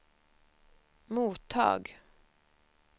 mottag